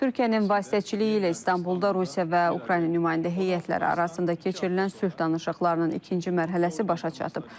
Türkiyənin vasitəçiliyi ilə İstanbulda Rusiya və Ukrayna nümayəndə heyətləri arasında keçirilən sülh danışıqlarının ikinci mərhələsi başa çatıb.